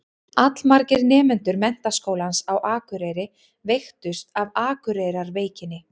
Allmargir nemendur Menntaskólans á Akureyri veiktust af Akureyrarveikinni.